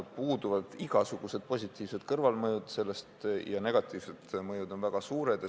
Puudub igasugune positiivne kõrvalmõju ja negatiivne mõju on väga suur.